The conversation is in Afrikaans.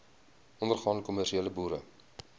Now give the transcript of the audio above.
ondergaande kommersiële boere